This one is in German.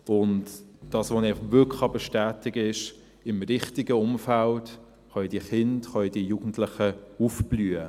Das, was ich einfach wirklich bestätigen kann: Im richtigen Umfeld können diese Kinder, können diese Jugendlichen aufblühen.